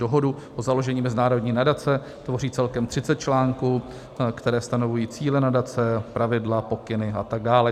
Dohodu o založení mezinárodní nadace tvoří celkem 30 článků, které stanovují cíle nadace, pravidla, pokyny a tak dále.